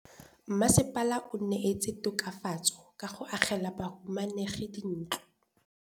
Mmasepala o neetse tokafatsô ka go agela bahumanegi dintlo.